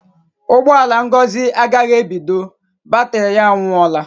Ụgbọ ala Ngozi agaghị ebido; batrị ya anwụọla.